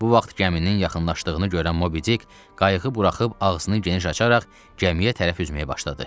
Bu vaxt gəminin yaxınlaşdığını görən Mobidik, qayıq buraxıb ağzını geniş açaraq gəmiyə tərəf üzməyə başladı.